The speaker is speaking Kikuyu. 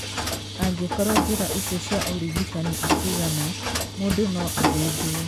Angĩkorũo njĩra icio cia ũrigitani itiigana, mũndũ no athĩnjwo.